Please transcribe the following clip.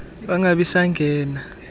mgibe bangabi sangena